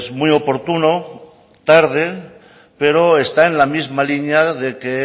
muy oportuno tarde pero está en la misma línea de que